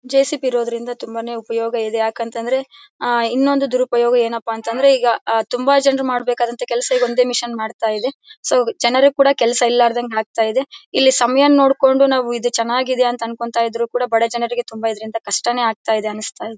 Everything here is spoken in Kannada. ಜೆಸಿಬಿ ಇರೋದ್ರಿಂದ ತುಂಬಾನೇ ಉಪಯೋಗ ಇದೆ ಯಾಕಂತ ಅಂದ್ರೆ ಆಹ್ಹ್ ಇನ್ನೊಂದ್ ದುರುಪಯೋಗ ಏನಪ್ಪಾ ಅಂತಂದ್ರೆ ತುಂಬ ಜನ ಮಾಡಬೇಕಾದ ಅಂತ ಕೆಲಸ ಒಂದೇ ಮಷೀನ್ ಮಾಡ್ತಾ ಇದೆ ಕೆಲಸ ಇರಲಾರದಂಗ್ ಆಗ್ತಾ ಇದೆ. ಇಲ್ಲಿ ಸಮಯನ್ನ ನೋಡ್ಕೊಂಡು ನಾವು ಇದು ಚೆನ್ನಾಗಿದೆ ಅಂತ ಅನ್ಕೊಂತಿದ್ರೆ ಬಡ ಜನರಿಗೆ ತುಂಬ ಇದರಿಂದ ಕಷ್ಟನೇ ಆಗ್ತಾ ಇದೆ.